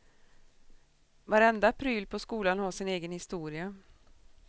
Varenda pryl på skolan har sin egen historia.